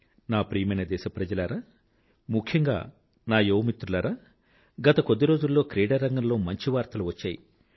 నా ప్రియమైన దేశప్రజలారా ముఖ్యంగా నా యువమిత్రులారా గత కొద్దిరోజుల్లో క్రీడారంగంలో మంచి వార్తలు వచ్చాయి